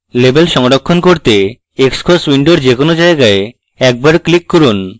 label সংরক্ষণ করতে xcos window যে কোনো জায়গায় একবার click করুন